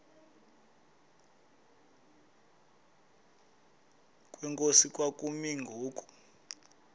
kwenkosi kwakumi ngoku